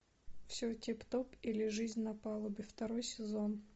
все тип топ или жизнь на палубе второй сезон